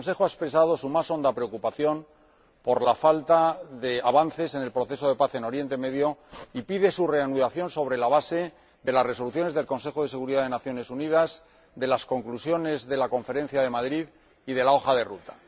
El Consejo ha expresado su más honda preocupación por la falta de avances en el proceso de paz en Oriente Próximo y pide su reanudación sobre la base de las resoluciones del Consejo de Seguridad de las Naciones Unidas, de las conclusiones de la Conferencia de Madrid y de la hoja de ruta.